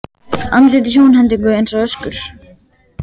Andlit í sjónhendingu eins og öskur.